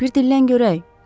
Bir dillən görək!